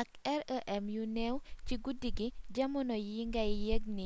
ak rem yu néew ci guddi gi jamono yi ngay yëg ni